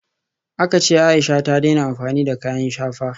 Aka ce Aisha ta daina amfani da kayan shafa